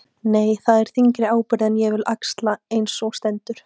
Nei, það er þyngri ábyrgð en ég vil axla eins og á stendur.